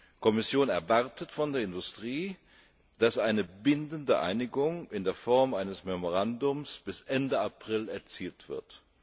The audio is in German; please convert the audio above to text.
Die Kommission erwartet von der Industrie, dass eine bindende Einigung in der Form eines Memorandums bis Ende April erzielt wird.